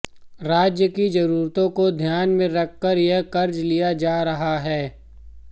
राज्य की जरूरतों को ध्यान में रखकर यह कर्ज लिया जा रहा है